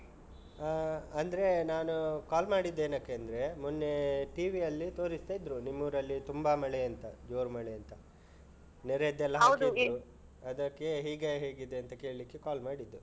ಹಾ ಅಂದ್ರೆ ನಾನು call ಮಾಡಿದ್ದೇನಕ್ಕೆಂದ್ರೆ ಮೊನ್ನೆ TV ಯಲ್ಲಿ ತೋರಿಸ್ತಾ ಇದ್ರು ನಿಮ್ಮೂರಲ್ಲಿ ತುಂಬ ಮಳೆ ಅಂತ ಜೋರು ಮಳೆ ಅಂತ ನೆರೆಯದ್ದೆಲ್ಲ. ಅದಕ್ಕೆ ಈಗ ಹೇಗಿದೆ ಅಂತ ಕೇಳಿಕ್ಕೆ call ಮಾಡಿದ್ದು.